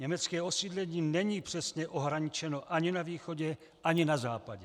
Německé osídlení není přesně ohraničeno ani na východě, ani na západě.